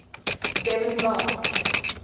devan gar